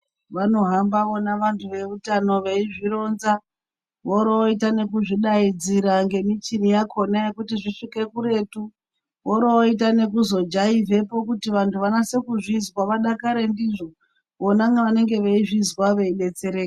Vanohamba vona vantu veutano veizvironza vorovoita nekuzvidaidzira ngemichini yakona kuti zvisvike kuretu vorovoita nekuzojaivhepo kuti vantu vanase kuzvizwa vadakare ndizvo vona vanenge veizviswa veidetsereka.